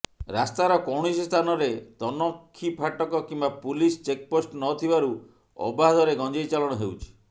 ରାସ୍ତାର କୌଣସି ସ୍ଥାନରେ ତନଖି ଫାଟକ କିମ୍ବା ପୁଲିସ ଚେକପୋଷ୍ଟ ନଥିବାରୁ ଅବାଧରେ ଗଂଜେଇ ଚାଲାଣ ହେଉଛି